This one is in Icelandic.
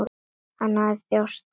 Hann þjáðist af astma.